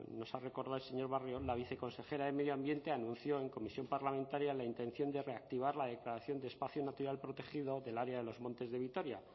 nos ha recordado el señor barrio la viceconsejera de medio ambiente anunció en comisión parlamentaria la intención de reactivar la declaración de espacio natural protegido del área de los montes de vitoria